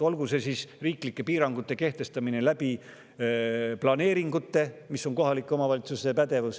Kohaliku omavalitsuse pädevuses on riiklike piirangute kehtestamine planeeringute kaudu.